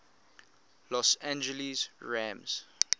los angeles rams